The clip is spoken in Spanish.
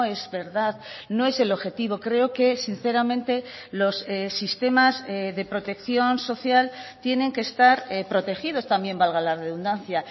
es verdad no es el objetivo creo que sinceramente los sistemas de protección social tienen que estar protegidos también valga la redundancia